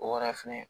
O wɛrɛ fɛnɛ